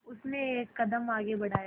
उसने एक कदम आगे बढ़ाया